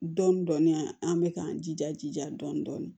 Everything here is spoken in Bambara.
Dɔɔnin dɔɔnin an bɛ k'an jija jija dɔɔnin dɔɔnin